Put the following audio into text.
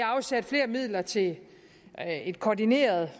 afsat flere midler til et koordineret